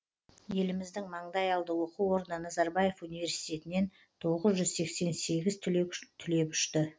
еліміздің маңдайалды оқу орны назарбаев университетінен тоғыз жүз сексен сегіз түлек түлеп ұшты